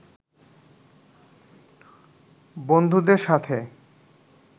বন্ধুদের সাথে